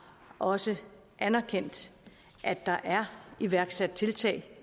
også anerkendt at der er iværksat tiltag